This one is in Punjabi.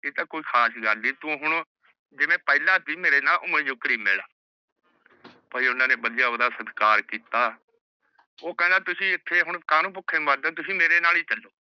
ਆਹ ਤਾ ਕੋਈ ਖਾਸ ਗਲ ਨੀ ਤੂ ਹੁਣ ਪਹਲਾ ਸੀ ਮੇਰੇ ਨਾਲ ਓਹ੍ਵੇ ਓਹਨਾ ਨੇ ਬਢਿਯਾ ਓਹਦਾ ਸੰਸਕਾਰ ਕੀਤਾ ਓਹ ਕਹੰਦਾ ਤੁਸੀਂ ਹੁਣ ਐਥੇ ਕਾਨੁ ਭੁਕੇ ਮਾਰਦੇ ਹੋ ਤੁਸੀਂ ਮੇਰੇ ਨਾਲ ਹੀ ਚਲੋ